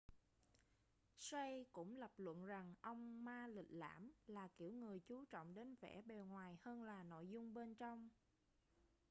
hsieh cũng lập luận rằng ông ma lịch lãm là kiểu người chú trọng đến vẻ bề ngoài hơn là nội dung bên trong